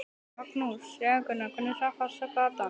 Magnús: Jæja Gunnar, hvernig smakkast skatan?